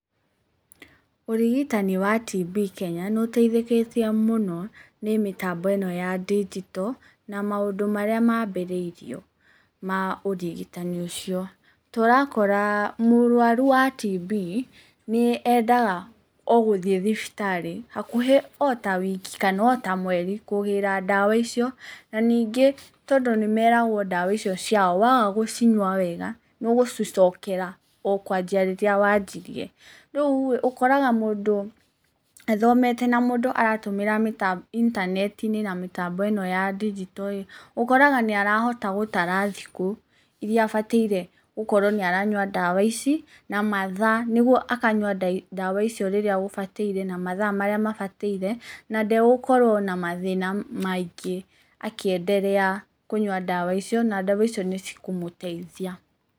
Ũrigitani wa TB Kenya, nĩũteithĩkĩte mũno nĩ mĩtambo ĩno ya ndinjito, na maũndũ marĩa mambĩrĩirio ma ũrigitani ũcio. Tũrakora, mũrwaru wa TB, nĩ endaga ogũthiĩ thibitarĩ, hakuhĩ ota wiki, kana ota mweri, kũgĩra ndawa icio, na ningĩ tondũ nĩmeragwo ndawa icio ciao, waga gũcinyua wega, nĩũgũcicokera okwanjia rĩrĩa wanjirie. Rĩurĩ, ũkoraga mũndũ athomete, na mũndũ aratũmĩra intaneti-inĩ na mĩtambo ĩno ya ndinjitoĩ, ũkoraga nĩarahota gũtara thikũ iria abataire gũkorwo nĩ aranyua ndawa ici, na mathaa, nĩguo akanyua ndawa icio rĩrĩa gũbataire na mathaa marĩa mabataire, na ndegũkorwo na mathĩna maingĩ akĩenderea kũnyua ndawa icio, na ndawa icio nĩcikũmũtaithia.